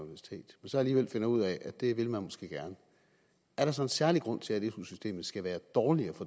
så alligevel finder ud af at det vil man måske gerne er der så en særlig grund til at su systemet skal være dårligere